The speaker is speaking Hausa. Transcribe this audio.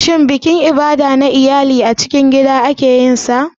Shin bikin Ibada na iyali babban biki ne ko kuma a cikin gida ake yin sa?